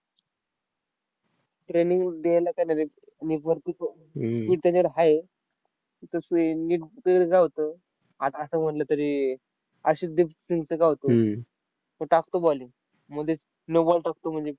Training द्यायला काय नाही रे. भरपूर त्याच्याकडे आहे. तसे होतं. आता असं म्हणलं तरी, अर्षदिप सिंगचं तो टाकतो bowling मध्येच no ball टाकतो मध्येच.